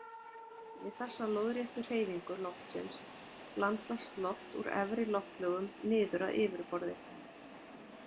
Við þessa lóðréttu hreyfingu loftsins blandast loft úr efri loftlögum niður að yfirborði.